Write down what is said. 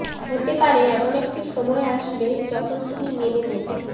হতে পারে এমন একটি সময় আসবে যখন তুমি মেনে নেবে